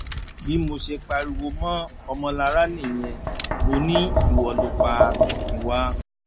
bí mo ṣe pariwo mọ ọmọlára nìyẹn mọ ni ìwọ ló pa tomiwa